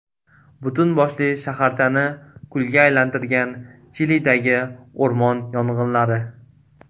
Butun boshli shaharchani kulga aylantirgan Chilidagi o‘rmon yong‘inlari.